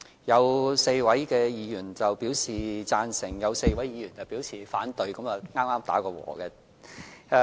有4位議員表示贊成 ，4 位議員表示反對，剛好平手。